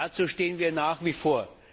Dazu stehen wir nach wie vor.